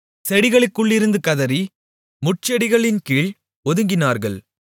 செடிகளுக்குள்ளிருந்து கதறி முட்செடிகளின்கீழ் ஒதுங்கினார்கள்